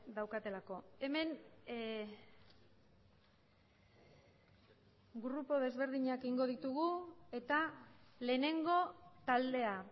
daukatelako hemen grupo desberdinak egingo ditugu eta lehenengo taldea